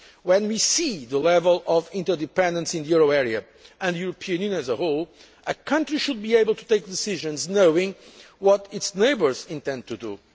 When we see the level of interdependence in the euro area and the European Union as a whole, a country should be able to take decisions knowing what its neighbours intend to